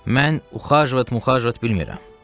Mən uxajvat-muxajvat bilmirəm.